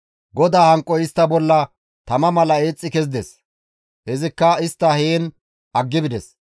GODAA hanqoy istta bolla tama mala eexxi kezides; izikka istta heen aggi bides.